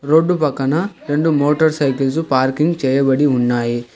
Road పక్కన రెండు motor cycles parking చేయబడి ఉన్నాయి.